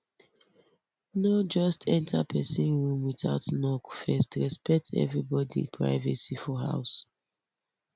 no just enter pesin room without knock first respect everybody privacy for house